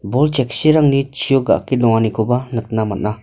bol cheksirangni chio ga·ake donganikoba nikna man·a.